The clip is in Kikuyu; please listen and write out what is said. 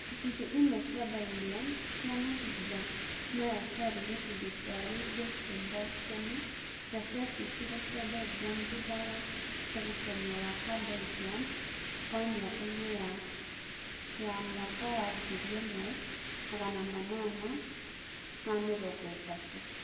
Icunjĩ imwe cia Belgium cia mahinda maya ciarĩ gĩcunjĩ kĩa Luxembourg tene no ciatuĩkire cia Belgium thutha wa Mũgucanio wa a- Belgium wa mĩaka-inĩ ya 1830s